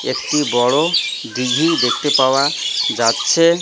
একটি বড়ো দিঘি দেখতে পাওয়া যাচ্ছে।